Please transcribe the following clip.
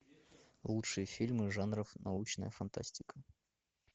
лучшие фильмы жанров научная фантастика